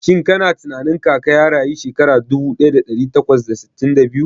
Shin kana tunanin Kaka ya rayu shekara dubu daya da dari takwas da sittin da biyu?